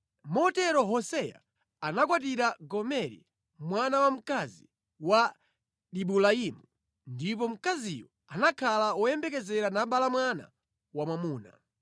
Motero Hoseya anakwatira Gomeri mwana wamkazi wa Dibulaimu, ndipo mkaziyo anakhala woyembekezera nabala mwana wamwamuna.